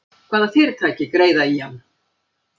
Hvaða fyrirtæki greiða í hann?